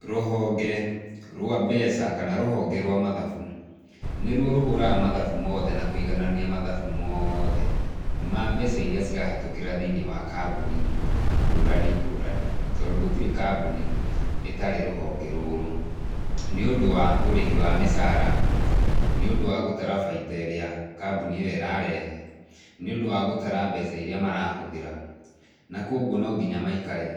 Rũhonge rwa mbeca kana rũhonge rwa mathabu, nĩ ruo rũhũraga mathabu mothe na kũiganania mathabu mothe ma mbeca iria cirahetũkĩra thĩini wa kambũni ngũrani ngũrani tondũ gũtirĩ kambũni ĩtarĩ rũhonge rũrũ. Nĩũndũ wa ũrĩhi wa mĩcara, nĩũndũ wa gũtara baita ĩrĩa kambũni ĩyo ĩrarehe, nĩũndũ wa gũtara mbeca iria marahũthĩra. Na koguo no nginya maikare